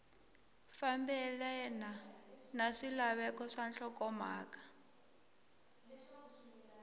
fambelena na swilaveko swa nhlokomhaka